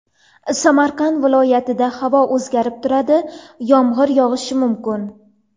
Samarqand viloyatida havo o‘zgarib turadi, yomg‘ir yog‘ishi mumkin.